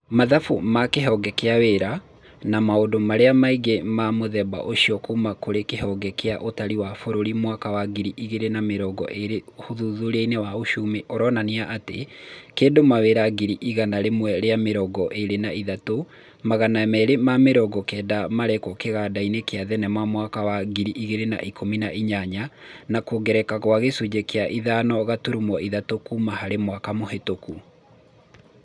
Mathabu ma kĩhonge kĩa wĩra, na maũndũ marĩa mangĩ ma mũthemba ũcio kuma kũrĩ kihonge kĩa ũtari kia bũrũri mwaka wa ngiri igĩrĩ na mĩrongo ĩrĩ ũthuthuria wa ũcumi ũronania atĩ kĩndũ mawĩra ngiri igana rĩmwe rĩa mĩrongo ĩrĩ na ithatũ, magana merĩ ma mĩrongo kenda marĩkwo kĩgandainĩ kĩa thenema mwaka wa ngiri igĩrĩ na ikũmi na inyanya. na kuongerereka kwa gicunji kia ithano gaturumo ithatu kuma hari mwaka muhituku.